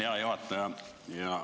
Hea juhataja!